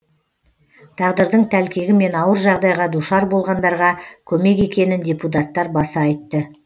тағдырдың тәлкегімен ауыр жағдайға душар болғандарға көмек екенін депутаттар баса айтты